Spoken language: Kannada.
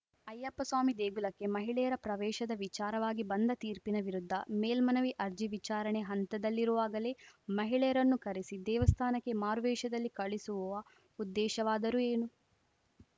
ಅಯ್ಯಪ್ಪ ಸ್ವಾಮಿ ದೇಗುಲಕ್ಕೆ ಮಹಿಳೆಯರ ಪ್ರವೇಶದ ವಿಚಾರವಾಗಿ ಬಂದ ತೀರ್ಪಿನ ವಿರುದ್ಧ ಮೇಲ್ಮನವಿ ಅರ್ಜಿ ವಿಚಾರಣೆ ಹಂತದಲ್ಲಿರುವಾಗಲೇ ಮಹಿಳೆಯರನ್ನು ಕರೆಸಿ ದೇವಸ್ಥಾನಕ್ಕೆ ಮಾರುವೇಷದಲ್ಲಿ ಕಳಿಸುವ ಉದ್ದೇಶವಾದರೂ ಏನು